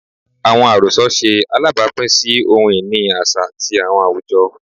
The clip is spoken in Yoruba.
Awọn arosọ ṣe alabapin si ohun-ini aṣa ti awọn awujọ